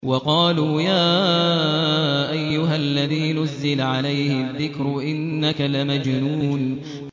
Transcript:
وَقَالُوا يَا أَيُّهَا الَّذِي نُزِّلَ عَلَيْهِ الذِّكْرُ إِنَّكَ لَمَجْنُونٌ